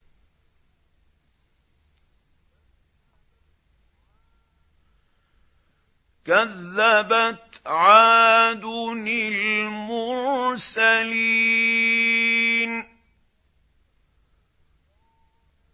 كَذَّبَتْ عَادٌ الْمُرْسَلِينَ